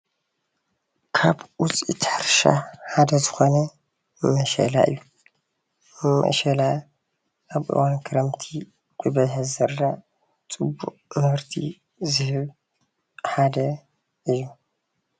ካብ ውጽኢት ሕርሻ ሓደ ዝኮነ ምሸላ እዩ። ምሸላ አብ እዋን ክረምቲ ብበዝሒ ዝዝራእ ጽቡቅ ምህርቲ ዝህብ ሓደ እዩ ።